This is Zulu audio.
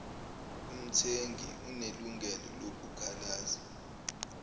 umthengi unelungelo lokukhalaza